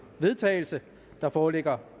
vedtagelse der foreligger